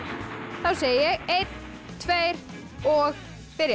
þá segi ég einn tveir og byrja